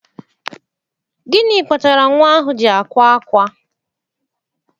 Gịnị kpatara nwa ahụ ji akwa ákwá?